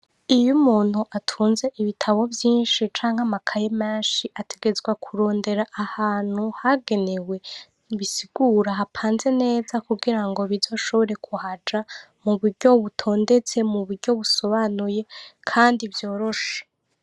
Iyo umuntu atunze ibitabo vyinshi canke amakaye menshi, ategerezwa kuronka ahantu hagenewe bisigura hatonze neza, kugirango bizoshobore kuhaja mu buryo butondetse, mu buryo busobanuye kandi vyoroshe.